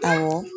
Awɔ